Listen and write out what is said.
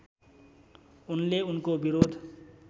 उनले उनको विरोध